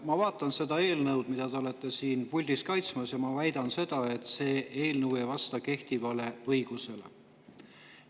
Ma vaatan seda eelnõu, mida te olete siin puldis kaitsmas, ja ma väidan, et see eelnõu ei vasta kehtivale õigusele.